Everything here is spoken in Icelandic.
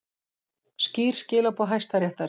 Skýr skilaboð Hæstaréttar